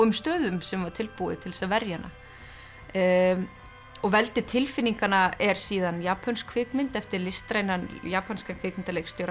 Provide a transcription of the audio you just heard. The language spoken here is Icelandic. stöðum sem var tilbúið til þess að verja hana og veldi tilfinninganna er síðan japönsk kvikmynd eftir listrænan japanskan kvikmyndaleikstjóra